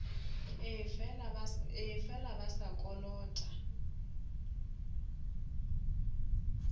ee fela ba sa kolota